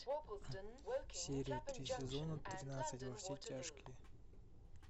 серия три сезона тринадцать во все тяжкие